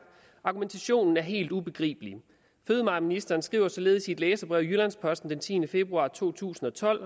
argumentationen er helt ubegribelig fødevareministeren skriver således i et læserbrev i jyllands posten den tiende februar 2012